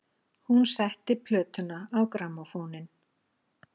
Hún setti plötuna á grammófóninn.